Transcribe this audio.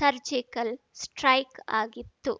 surgical strike ಆಗಿತ್ತು